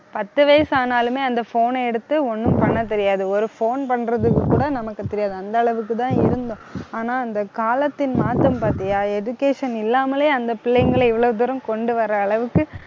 பத்து வயசு ஆனாலுமே அந்த phone ன எடுத்து ஒண்ணும் பண்ணத் தெரியாது. ஒரு phone பண்றதுக்கு கூட நமக்கு தெரியாது அந்த அளவுக்குதான் இருந்தோம். ஆனா, அந்த காலத்தின் மாற்றம் பாத்தியா education இல்லாமலேயே அந்த பிள்ளைங்களை இவ்வளவு தூரம் கொண்டு வர அளவுக்கு